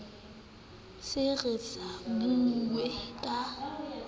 se re sa bue ka